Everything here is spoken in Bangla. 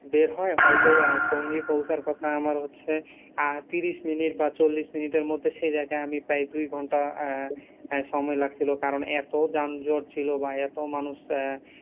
বের হয় হয়তো আমার টোঙ্গি পৌছার কথা হচ্ছে আমার হচ্ছে, আহ ত্রিশ মিনিট বা চল্লিশ মিনিটের মধ্যে সেই জায়গায় আমি প্রায় দুই ঘন্টা আহ সময় লাগছিল কারন এত যানজট ছিল এত মানুষ আহ